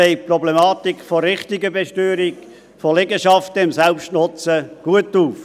Er zeigt die Problematik der richtigen Besteuerung von Liegenschaften im Selbstnutzen gut auf.